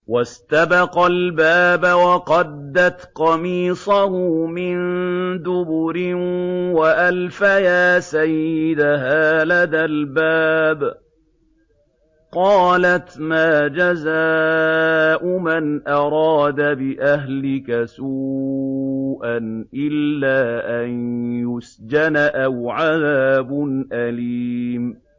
وَاسْتَبَقَا الْبَابَ وَقَدَّتْ قَمِيصَهُ مِن دُبُرٍ وَأَلْفَيَا سَيِّدَهَا لَدَى الْبَابِ ۚ قَالَتْ مَا جَزَاءُ مَنْ أَرَادَ بِأَهْلِكَ سُوءًا إِلَّا أَن يُسْجَنَ أَوْ عَذَابٌ أَلِيمٌ